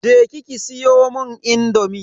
Je ki ki siyomun indomi.